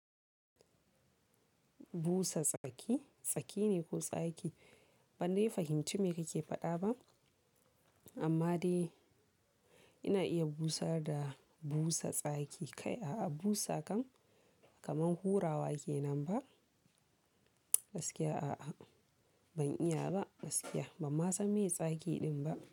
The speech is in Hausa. Busa tsaki, tsaki ne ko tsaki? Ban dai fahimci me kake faɗa ba. Amma dai ina iya busar da busa tsaki. Kai, a'a busa kan kamar hurawa ke nan ba? Gaskiya a'a ban iya ba gaskiya. Ba ma san me tsaki din ba.